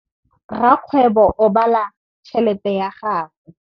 Rakgwêbô o bala tšheletê ya gagwe.